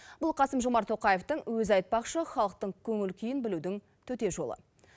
бұл қасым жомарт тоқаевтың өзі айтпақшы халықтың көңіл күйін білудің төте жолы